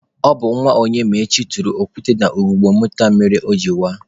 Ọ bụ nwa Onyemaechi tụrụ okwute na ugogbe moto a mere o jiri waa.